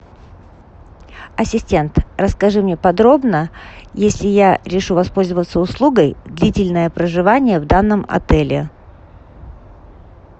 ассистент расскажи мне подробно если я решу воспользоваться услугой длительное проживание в данном отеле